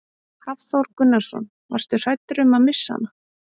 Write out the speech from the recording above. Hafþór Gunnarsson: Varstu hræddur um að missa hana?